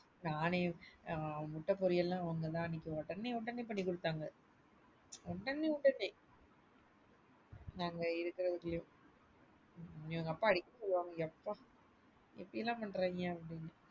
நானே முட்ட பொரியல் லாம் அவங்க அன்னிக்கு உடனே உடனே பண்ணிகுடுத்தாங்க உடனே உடனே எங்க அப்பா அடிகடி சொல்லுவாரு யப்பா எப்படியெல்லாம் பண்றாய்ங்க?